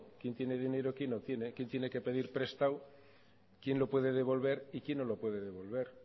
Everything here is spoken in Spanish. quién tiene dinero y quién no tiene quién tiene que pedir prestado quién lo puede devolver y quién no lo puede devolver